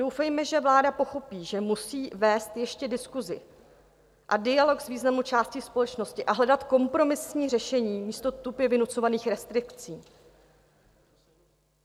Doufejme, že vláda pochopí, že musí vést ještě diskusi a dialog s významnou částí společnosti a hledat kompromisní řešení místo tupě vynucovaných restrikcí.